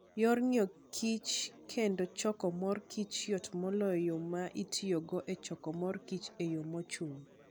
Yor ngeyo kich kendo choko mor kich yot moloyo yo ma itiyogo e choko mor kich eyo mochung'.